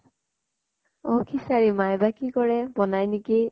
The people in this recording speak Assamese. অ খিচাৰী, মায়ে বা কি কৰে বনায় নেকি